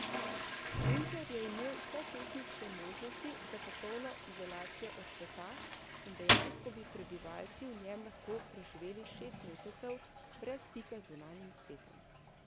Bunker je imel vse tehnične možnosti za popolno izolacijo od sveta in dejansko bi prebivalci v njem lahko preživeli šest mesecev brez stika z zunanjim svetom.